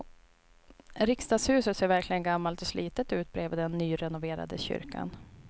Riksdagshuset ser verkligen gammalt och slitet ut bredvid den nyrenoverade kyrkan.